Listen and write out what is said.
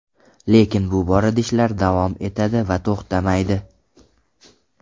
Lekin bu borada ishlar davom etadi va to‘xtamaydi.